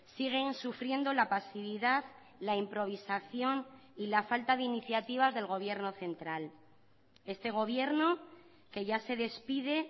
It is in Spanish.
siguen sufriendo la pasividad la improvisación y la falta de iniciativas del gobierno central este gobierno que ya se despide